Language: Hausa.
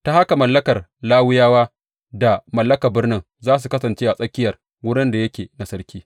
Ta haka mallakar Lawiyawa da mallakar birnin za su kasance a tsakiyar wurin da yake na sarki.